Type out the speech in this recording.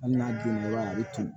Hali n'a donna i b'a ye a bɛ turu